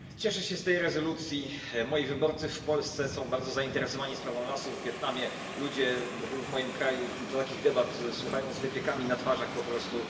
Panie Przewodniczący! Cieszę się z tej rezolucji. Moi wyborcy w Polsce są bardzo zainteresowani sprawą lasów w Wietnamie. Ludzie w moim kraju takich debat słuchają z wypiekami na twarzach po prostu.